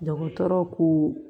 Dɔgɔtɔrɔ ko